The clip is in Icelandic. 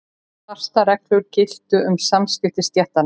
Fastar reglur giltu um samskipti stéttanna.